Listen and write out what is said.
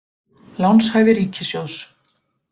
Lánshæfi ríkissjóðs.